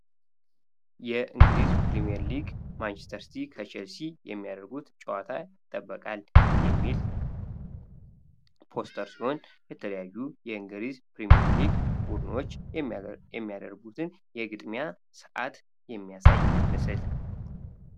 የእንግሊዝ ፕሪምየር ሊግ ማንችስተር ሲቲ ከቸልሲ የሚያደርጉት ጨዋታ ይጠበቃል የተለያዩ የእንግሊዝ ፕሪምየር ሊግ የሚያደርጉትን የግድያ ሰዓት የሚያሳይ ምስል